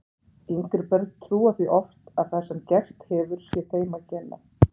Yngri börn trúa því oft að það sem gerst hefur sé þeim að kenna.